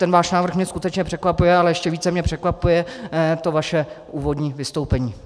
Ten váš návrh mě skutečně překvapuje, ale ještě více mě překvapuje to vaše úvodní vystoupení.